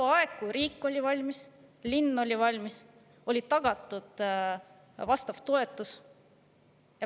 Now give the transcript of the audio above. Tol ajal, kui riik oli valmis, kui linn oli valmis, kui oli tagatud vastav toetus.